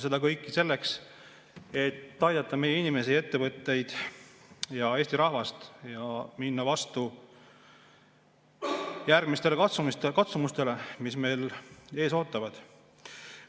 Seda kõike selleks, et aidata meie inimesi, ettevõtteid, Eesti rahvast ja minna vastu järgmistele katsumustele, mis meid ees ootavad.